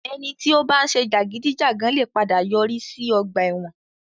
Ẹni tí ó bá ń ṣe jàgídíjàgan lè padà yọrí sí ọgbà ẹ̀wọ̀n.